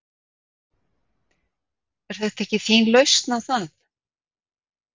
Er þetta ekki þín lausn á það?